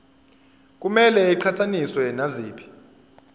kumele iqhathaniswe naziphi